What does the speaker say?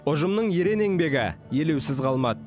ұжымның ерен еңбегі елеусіз қалмады